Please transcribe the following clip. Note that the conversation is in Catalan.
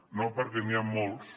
no perquè n’hi ha molts